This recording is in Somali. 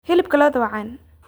Hilibka lo'da waa caan.